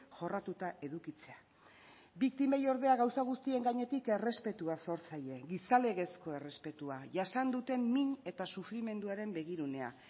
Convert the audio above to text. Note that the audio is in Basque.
jorratuta edukitzea biktimei ordea gauza guztien gainetik errespetua zor zaie gizalegezko errespetua jasan duten min eta sufrimenduaren begirunea